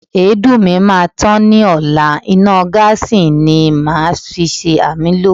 Èédú mi máa tán ni ọla, iná gáàsí ni màá si ṣàmúlò.